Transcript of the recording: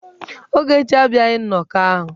Ogechi abịaghị nnọkọ ahụ.